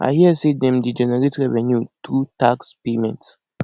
i hear say dem dey generate revenue through tax payments